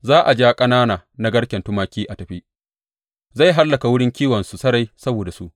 Za a ja ƙanana na garken tumaki a tafi; zai hallaka wurin kiwonsu sarai saboda su.